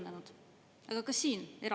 Nii et Lauri Laats, palun!